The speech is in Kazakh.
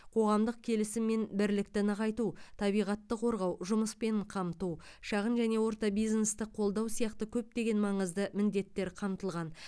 қоғамдық келісім мен бірлікті нығайту табиғатты қорғау жұмыспен қамту шағын және орта бизнесті қолдау сияқты көптеген маңызды міндеттер қамтылған